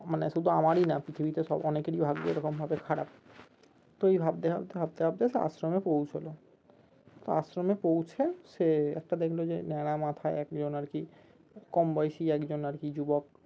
মানে শুধু আমারই না পৃথিবীতে অনেকেরই ভাগ্য এরকমভাবে খারাপ তো এই ভাবতে ভাবতে ভাবতে ভাবতে আশ্রমে পৌঁছলো তো আশ্রমে পৌঁছে সে একটা দেখলো যে ন্যাড়া মাথায় একজন আরকি কম বয়সী একজন আরকি যুবক